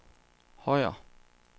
Højer